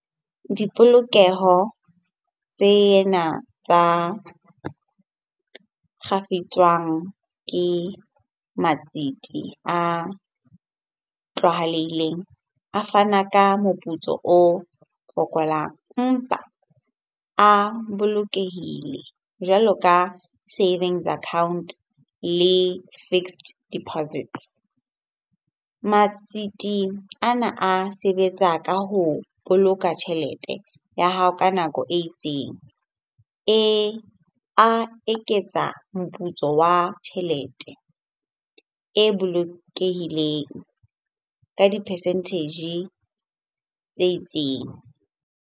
Dipolokeho tsena tsa kgafetswang ke matsete a tlwaelehileng a fana ka moputso o fokolang. Empa a bolokehile jwalo ka savings account le fixed deposit. Matsete ana a sebetsa ka ho boloka tjhelete ya hao ka nako e itseng a eketsa moputso wa tjhelete e bolokehileng ka di-percentage tse itseng.